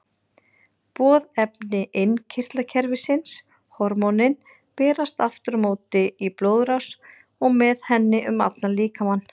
Boðefni innkirtlakerfisins, hormónin, berast aftur á móti í blóðrás og með henni um allan líkamann.